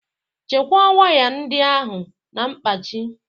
Chekwaa waya ndị ahụ na mkpachị.